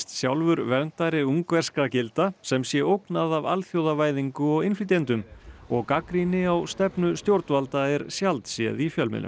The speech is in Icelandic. sjálfur verndari ungverska gilda sem sé ógnað af alþjóðavæðingu og innflytjendum og gagnrýni á stefnu stjórnvalda er sjaldséð í fjölmiðlum